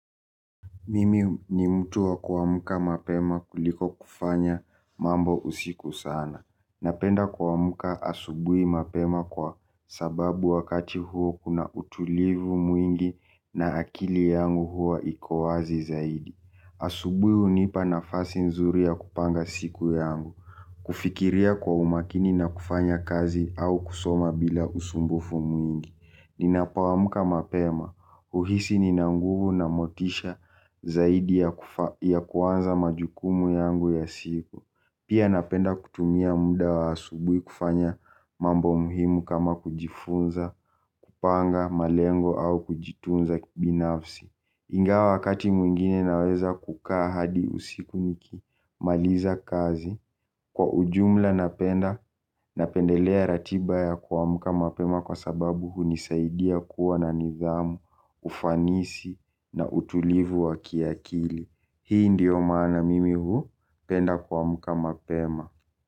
Mimi ni mtu wa kuamka mapema kuliko kufanya mambo usiku sana. Napenda kuamka asubui mapema kwa sababu wakati huo kuna utulivu mwingi na akili yangu huwa iko wazi zaidi. Asubui hunipa nafasi nzuri ya kupanga siku yangu, kufikiria kwa umakini na kufanya kazi au kusoma bila usumbufu mwingi. Ninapoamka mapema, huhisi nina nguvu na motisha zaidi ya kuanza majukumu yangu ya siku. Pia napenda kutumia muda wa asubui kufanya mambo muhimu kama kujifunza, kupanga, malengo au kujitunza kibinafsi. Ingawa wakati mwingine naweza kukaa hadi usiku nikimaliza kazi. Kwa ujumla napenda, napendelea ratiba ya kuamka mapema kwa sababu hunisaidia kuwa na nidhamu, ufanisi na utulivu wa kiakili. Hii ndiyo maana mimi hupenda kuamka mapema.